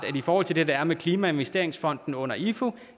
i forhold til det der er med klimainvesteringsfonden under ifu